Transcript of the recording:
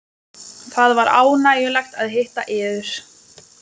Það var ánægjulegt að hitta yður.